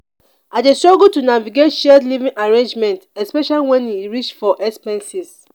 i dey struggle to navigate shared living arrangement especially when e reach for expenses.